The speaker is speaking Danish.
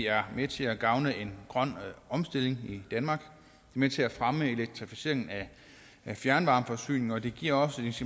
er med til at gavne en grøn omstilling i danmark og med til at fremme elektrificeringen af fjernvarmeforsyningen og det giver også et